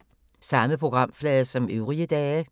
Samme programflade som øvrige dage